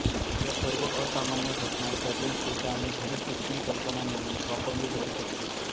या सर्व असामान्य घटना सर्जनशीलता आणि घरी शिक्षण कल्पना म्हणून वापरली जाऊ शकते